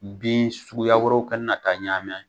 Bin suguya wɛrɛw kana na taa ɲami